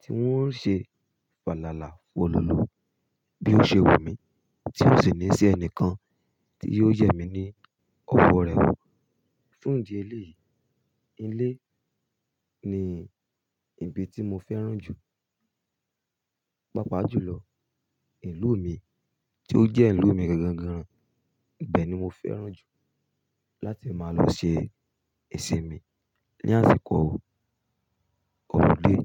tí n ó ṣe falala folọlọ bí ó ṣe wù mí tí ó sì ní í ṣe ẹnìkan tí yóò yẹ mí ní ọwọ́ rẹ̀ wo fún ìdí eléyìí. Ilé ni ibi tí mo fẹ́ràn jù. Pápá à jùlọ, ìlú mi tí ó jẹ́ ìlú mi gangan gan-an, ibẹ̀ ni mo fẹ́ràn jù láti máa lọ ṣe ìsinmi ní àsìkò holiday.